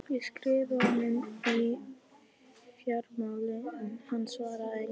Ég skrifaði honum um fjármálin en hann svaraði engu.